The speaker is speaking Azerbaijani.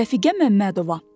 Rəfiqə Məmmədova.